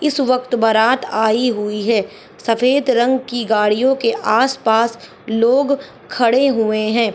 इस वक्त बारात आई हुई है सफेद रंग की गाड़ियों के आस पास लोग खड़े हुए है।